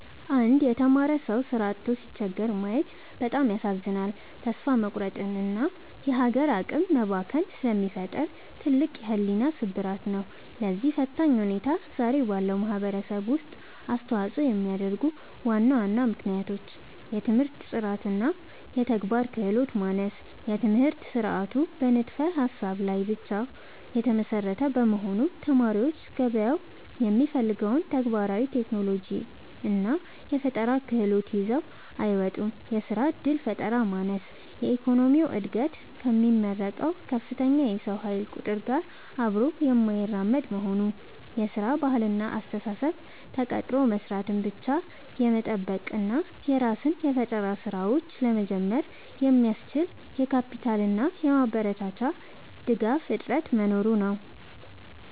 አንድ የተማረ ሰው ሥራ አጥቶ ሲቸገር ማየት በጣም ያሳዝናል፤ ተስፋ መቁረጥንና የሀገር አቅም መባከንን ስለሚፈጥር ትልቅ የሕሊና ስብራት ነው። ለዚህ ፈታኝ ሁኔታ ዛሬ ባለው ማኅበረሰብ ውስጥ አስተዋፅኦ የሚያደርጉ ዋና ዋና ምክንያቶች፦ የትምህርት ጥራትና የተግባር ክህሎት ማነስ፦ የትምህርት ሥርዓቱ በንድፈ-ሀሳብ ላይ ብቻ የተመሰረተ በመሆኑ፣ ተማሪዎች ገበያው የሚፈልገውን ተግባራዊ የቴክኖሎጂና የፈጠራ ክህሎት ይዘው አይወጡም። የሥራ ዕድል ፈጠራ ማነስ፦ የኢኮኖሚው ዕድገት ከሚመረቀው ከፍተኛ የሰው ኃይል ቁጥር ጋር አብሮ የማይራመድ መሆኑ። የሥራ ባህልና አስተሳሰብ፦ ተቀጥሮ መሥራትን ብቻ የመጠበቅ እና የራስን የፈጠራ ሥራዎች (Startup) ለመጀመር የሚያስችል የካፒታልና የማበረታቻ ድጋፍ እጥረት መኖሩ ነው።